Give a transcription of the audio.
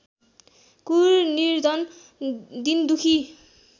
क्रूर निर्धन दीनदुखी